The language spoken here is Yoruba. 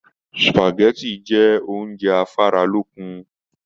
Supágẹ̀tì jẹ oúnjẹ afaralókun.